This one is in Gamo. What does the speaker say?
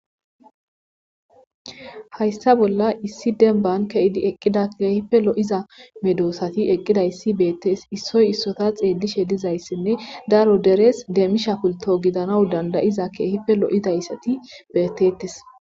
hayssa bolla issi denban ke7idi eqqida keehife lo7iza medoosati eqqidayssi beettes issoy issota xeelishe dizayssinne daro derees deemisha pulto gidanaw dandayiza keehife lo7idayssati beettettes